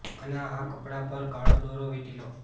અને આ કપડાં પર કાળો દોરા વીટી લો